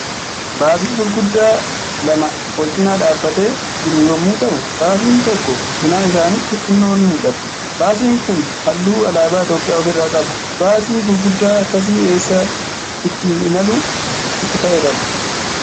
Baasii gurguddaa lama walcinaa dhaabbatee jiru yommuu ta'u, baasiin tokko cinaa isaaniitti xinnoo ni mul'ata. Baasiin Kun halluu alaabaa Itoophiyaa of irraa qaba. Baasii gurguddaa akkasii eessa ittiin imaluuf itti fayyadama?